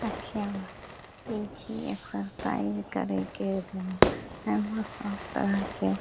देखियो ई छी एक्सरसाइज करे के रूम । यहाँ सब तरह के --